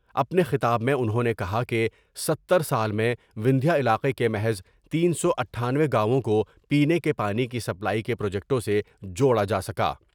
اپنے خطاب میں انہوں نے کہا کہ ستر سال میں وندھیہ علاقے کے محض تین سو اٹھانوے گاوؤں کو پینے کے پانی کی سپلائی کے پروجیکٹوں سے جوڑا جا سکا ۔